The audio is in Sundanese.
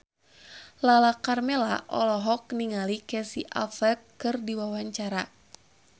Lala Karmela olohok ningali Casey Affleck keur diwawancara